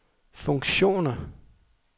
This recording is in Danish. funktioner